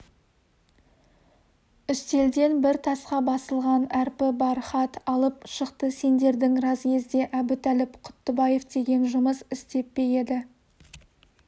үстелден бір тасқа басылған әрпі бар хат алып шықты сендердің разъезде әбутәліп құттыбаев деген жұмыс істеп пе еді